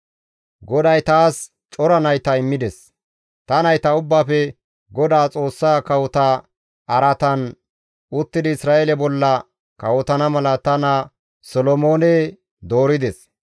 GODAY taas cora nayta immides; ta nayta ubbaafe Godaa Xoossa kawota araatan uttidi Isra7eele bolla kawotana mala ta naa Solomoone doorides.